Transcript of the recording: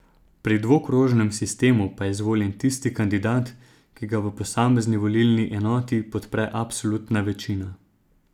Pri dvokrožnem sistemu pa je izvoljen tisti kandidat, ki ga v posamezni volilni enoti podpre absolutna večina.